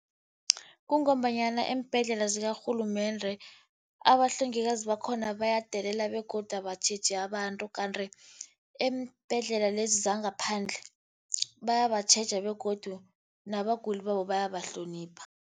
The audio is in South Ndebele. Kungombanyana eembhedlela zakarhulumende, abahlengikazi bakhona bayadelela begodu abatjheji abantu. Kanti eembhedlela lezi zangaphandle, bayabatjheja begodu nabaguli babo bayabahlonipha.